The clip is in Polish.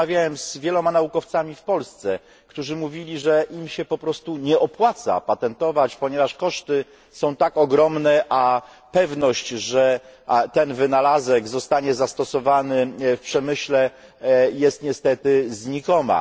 Rozmawiałem z wieloma naukowcami w Polsce, którzy mówili, że im się po prostu nie opłaca patentować, ponieważ koszty są tak ogromne, a pewność, że ten wynalazek zostanie zastosowany w przemyśle, jest niestety znikoma.